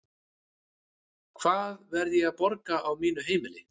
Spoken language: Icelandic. Hvaða verð er ég að borga á mínu heimili?